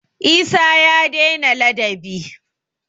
Isah ya dai na ladabi